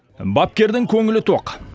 бапкердің көңілі тоқ